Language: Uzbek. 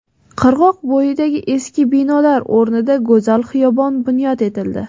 Qirg‘oq bo‘yidagi eski binolar o‘rnida go‘zal xiyobon bunyod etildi.